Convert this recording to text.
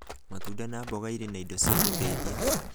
Matunda na mboga irĩ na indo cia gũtũteithia